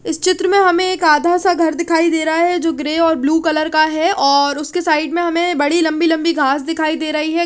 इस चित्र में हमे एक आधा सा घर दिखाई दे रहा है जो ग्रे और ब्लू कलर का है और उसके साइड में हमे बड़ी लम्बी लम्बी घास दिखाई दे रही है।